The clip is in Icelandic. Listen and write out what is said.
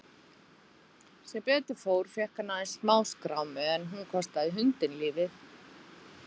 Sem betur fór fékk hann aðeins smáskrámu en hún kostaði hundinn lífið.